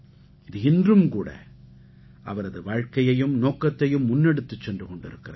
இது இன்றும்கூட அவரது வாழ்க்கையையும் நோக்கத்தையும் முன்னெடுத்துச் சென்று கொண்டிருக்கிறது